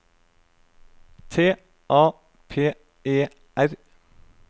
T A P E R